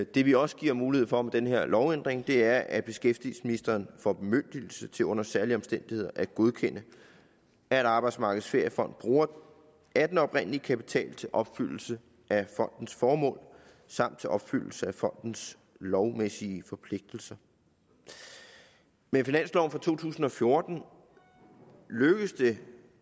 det vi også giver mulighed for med den her lovændring er at beskæftigelsesministeren får bemyndigelse til under særlige omstændigheder at godkende at arbejdsmarkedets feriefond bruger af den oprindelige kapital til opfyldelse af fondens formål samt til opfyldelse af fondens lovmæssige forpligtelser med finansloven for to tusind og fjorten lykkedes det